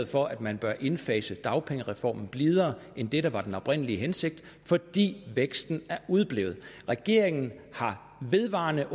for at man bør indfase dagpengereformen blidere end det der var den oprindelige hensigt fordi væksten er udeblevet regeringen har vedvarende